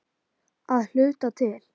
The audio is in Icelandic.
Að hluta til.